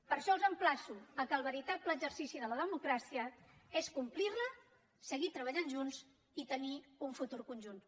per això els emplaço que el veritable exercici de la democràcia és complir la seguir treballant junts i tenir un futur conjunt